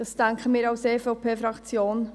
Das denken wir als EVP-Fraktion.